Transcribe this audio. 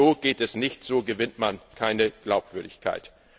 So geht es nicht, so gewinnt man keine Glaubwürdigkeit.